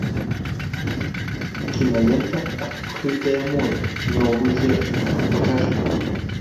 кинолента открытое море новые жертвы покажи мне